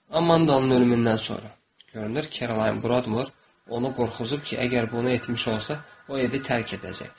Amandanın ölümündən sonra görünür ki, Kerolayn burada onu qorxuzub ki, əgər bunu etmiş olsa, o evi tərk edəcək.